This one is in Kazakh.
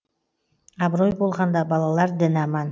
абырой болғанда балалар дін аман